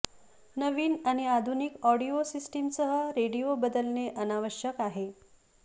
नवीन आणि आधुनिक ऑडिओ सिस्टमसह रेडिओ बदलणे अनावश्यक आहे